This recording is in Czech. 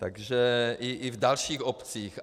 Taktéž i v dalších obcích.